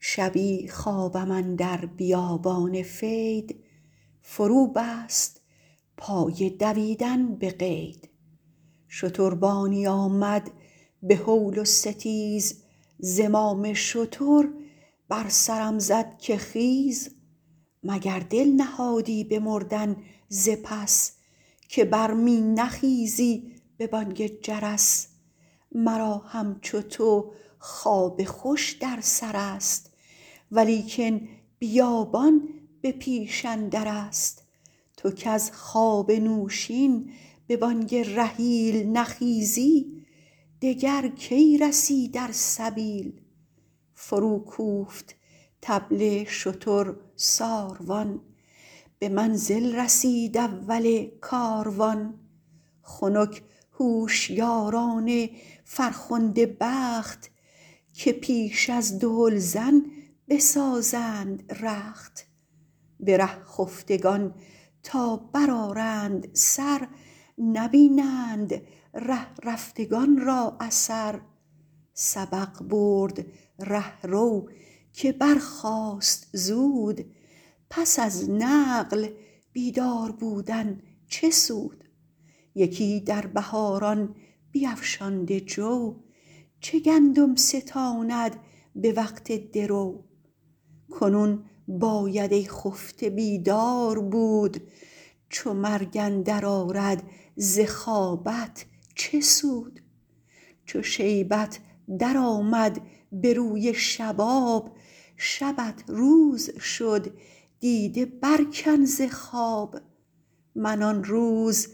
شبی خوابم اندر بیابان فید فرو بست پای دویدن به قید شتربانی آمد به هول و ستیز زمام شتر بر سرم زد که خیز مگر دل نهادی به مردن ز پس که بر می نخیزی به بانگ جرس مرا همچو تو خواب خوش در سر است ولیکن بیابان به پیش اندر است تو کز خواب نوشین به بانگ رحیل نخیزی دگر کی رسی در سبیل فرو کوفت طبل شتر ساروان به منزل رسید اول کاروان خنک هوشیاران فرخنده بخت که پیش از دهلزن بسازند رخت به ره خفتگان تا بر آرند سر نبینند ره رفتگان را اثر سبق برد رهرو که برخاست زود پس از نقل بیدار بودن چه سود یکی در بهاران بیفشانده جو چه گندم ستاند به وقت درو کنون باید ای خفته بیدار بود چو مرگ اندر آرد ز خوابت چه سود چو شیبت در آمد به روی شباب شبت روز شد دیده بر کن ز خواب من آن روز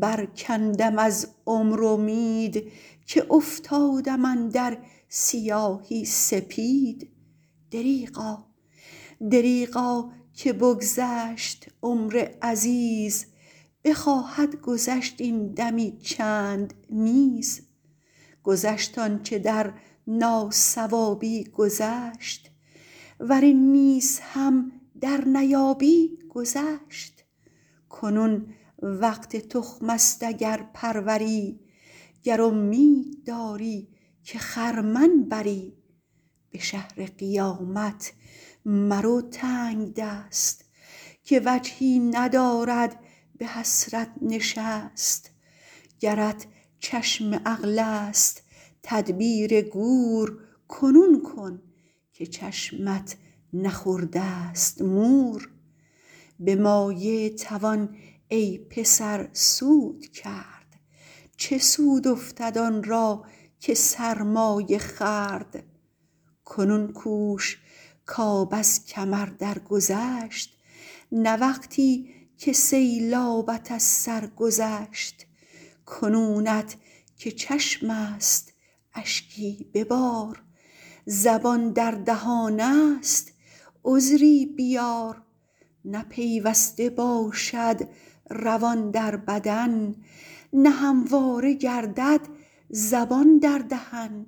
بر کندم از عمر امید که افتادم اندر سیاهی سپید دریغا که بگذشت عمر عزیز بخواهد گذشت این دمی چند نیز گذشت آنچه در ناصوابی گذشت ور این نیز هم در نیابی گذشت کنون وقت تخم است اگر پروری گر امید داری که خرمن بری به شهر قیامت مرو تنگدست که وجهی ندارد به حسرت نشست گرت چشم عقل است تدبیر گور کنون کن که چشمت نخورده ست مور به مایه توان ای پسر سود کرد چه سود افتد آن را که سرمایه خورد کنون کوش کآب از کمر در گذشت نه وقتی که سیلابت از سر گذشت کنونت که چشم است اشکی ببار زبان در دهان است عذری بیار نه پیوسته باشد روان در بدن نه همواره گردد زبان در دهن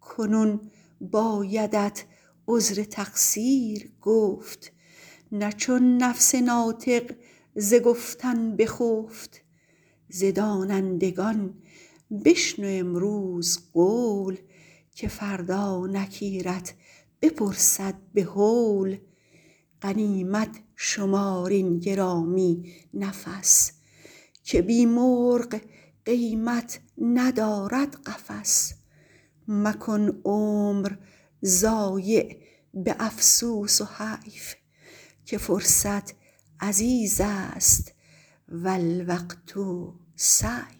کنون بایدت عذر تقصیر گفت نه چون نفس ناطق ز گفتن بخفت ز دانندگان بشنو امروز قول که فردا نکیرت بپرسد به هول غنیمت شمار این گرامی نفس که بی مرغ قیمت ندارد قفس مکن عمر ضایع به افسوس و حیف که فرصت عزیز است و الوقت سیف